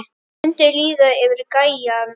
Það mundi líða yfir gæjann!